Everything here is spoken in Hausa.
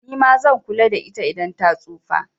Nima zan kula da ita idan ta tsufa